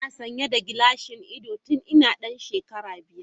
Ina sanye da gilashin ido tun ina dan shekara biyar.